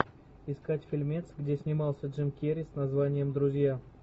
искать фильмец где снимался джим керри с названием друзья